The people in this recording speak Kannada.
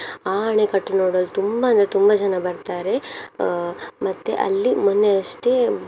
ಆ ಅಣೆಕಟ್ಟು ನೋಡಲು ತುಂಬ ಅಂದ್ರೆ ತುಂಬ ಜನ ಬರ್ತಾರೆ ಅಹ್ ಮತ್ತೆ ಅಲ್ಲಿ ಮೊನ್ನೆ ಅಷ್ಟೇ.